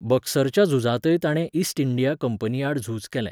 बक्सरच्या झुजांतय ताणें East India कंपनीआड झूज केलें.